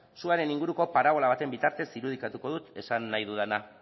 suaren inguruko parabola baten bitartez irudikatuko dut esan nahi dudana